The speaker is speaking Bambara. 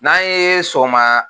N'an ye sɔgɔma